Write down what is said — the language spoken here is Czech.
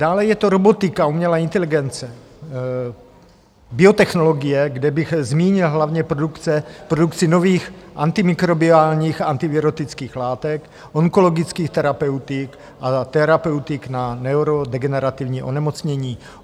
Dále je to robotika, umělá inteligence, biotechnologie, kde bych zmínil hlavně produkci nových antimikrobiálních, antivirotických látek, onkologických terapeutik a terapeutik na neurodegenerativní onemocnění.